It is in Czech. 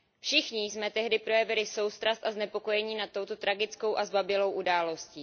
Všichni jsme tehdy projevili soustrast a znepokojení nad touto tragickou a zbabělou událostí.